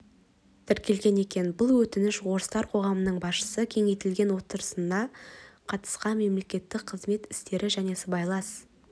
тіркелген екен бұл өтінішін орыстар қоғамының басшысы кеңейтілген отырысына қатысқан мемлекеттік қызмет істері және сыбайлас